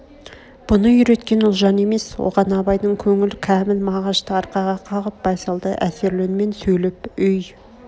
бұны үйреткен ұлжан емес оған абайдың көңіл кәміл мағашты арқаға қағып байсалды әсерлі үнмен сөйлеп өй